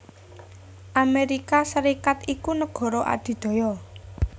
Amérika Sarékat iku nagara adidaya